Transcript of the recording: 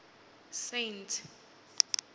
saintsi